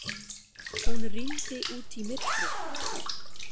Hún rýndi út í myrkrið.